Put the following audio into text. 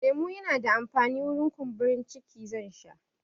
Lemo yana da amfani wurin kumburin ciki, zan sha